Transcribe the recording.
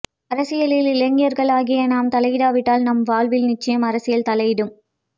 அரசியலில் இளைஞர்களாகிய நாம் தலையிடாவிட்டால் நம் வாழ்வில் நிச்சயம் அரசியல் தலையிடும்